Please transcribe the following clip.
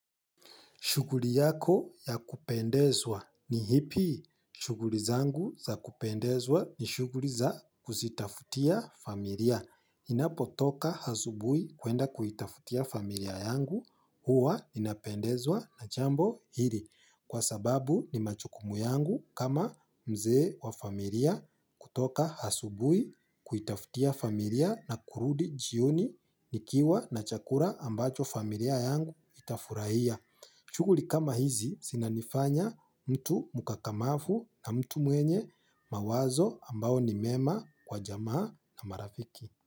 Shughuli yako ya kupendezwa ni ipi? Shughuli zangu za kupendezwa ni shughuli za kuzitafutia familia. Ninapotoka asubuhi kuenda kuitafutia familia yangu huwa ninapendezwa na jambo hili. Kwa sababu ni majukumu yangu kama mzee wa familia kutoka asubuhi kuitafutia familia na kurudi jioni nikiwa na chakula ambacho familia yangu itafurahia. Shughuli kama hizi zinanifanya mtu mkakamavu na mtu mwenye mawazo ambao ni mema kwa jamaa na marafiki.